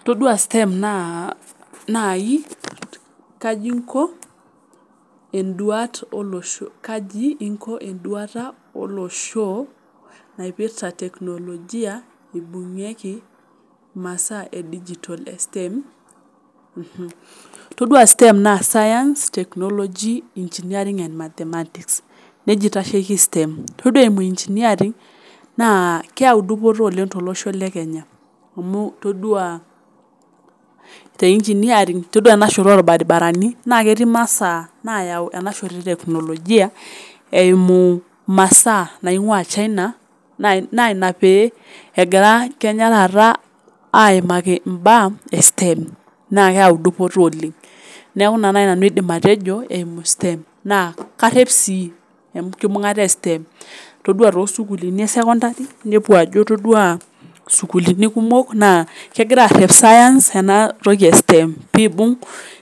Itodua STEM naa naii kaji inko enduata oloshoo napirta teknolojia eibungie masaa e dijitol e STEM, itodua STEM naa science technology engineering and mathematics neja aitasheki STEM. todua [cs[ engineering naa keyau dupoto oleng to losho le Kenya amuu itodua te ingineering itodua ena inshoto o irbaribarani naa ketii masaa nayau ena shoto e teknolojia eimu masaa naing'uaa china naa ina pee egira Kenya taata aimaki imbaa e STEM naa keata edupoto oleng, naeku neja nai aidim nanu atejo eimu STEM naa karep sii enkibung'ata e STEM, itodua too sukuluuni e sekondari nepuo ajo itodua sukuluuni kumok naa kegira aaarep science enatoki e aSTEM peibung'